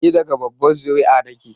Ni daga babbar zuri'a na ke